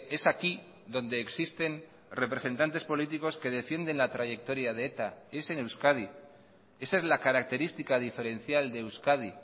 es aquí donde existen representantes políticos que defienden la trayectoria de eta es en euskadi esa es la característica diferencial de euskadi